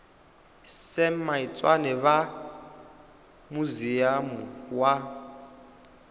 sam maitswane vha muziamu wa